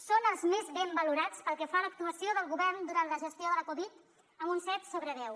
són els més ben valorats pel que fa a l’actuació del govern durant la gestió de la covid amb un set sobre deu